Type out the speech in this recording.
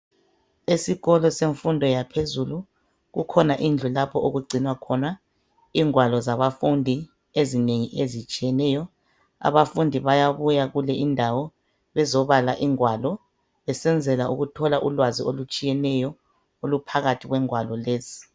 Esikolo semfundo yaphezulu, kukhona indlu lapho okugcinwa khona izigwalo zabafundi ezinengi ezitshiyeneyo. Abafundi bayabuya kule indawo bezobala igwalo , besenzela ukuthola ulwazi olutshiyeneyo oluphakathi kwegwalo lezi.